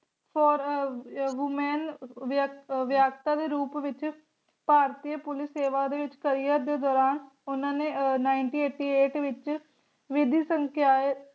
ਹੋਰ Women ਦੇ ਰੂਪ ਵਿਚ ਭਾਰਤੀ ਪੁਲਿਸ ਸੇਵਾ ਦੇ ਵਿਚ ਦੇ ਦੌਰਾਨ ਓਹਨਾ ਨੇ nineteen eighty eight ਵਿਚ ਵਿਧੀ ਸੰਕਾਯ